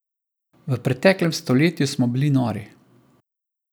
V preteklem stoletju smo bili nori.